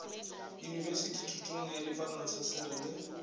yunibesithi thutong ya dipalontshesere le